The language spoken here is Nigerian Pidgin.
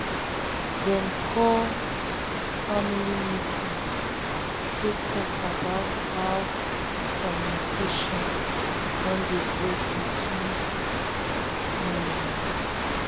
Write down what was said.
dem call family meeting to talk about how communication don dey break between between members.